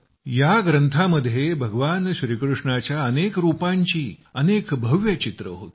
या ग्रंथामध्ये भगवान श्रीकृष्णाच्या अनेक रूपांची अनेक भव्य छायाचित्रे होती